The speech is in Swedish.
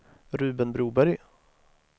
Ruben Broberg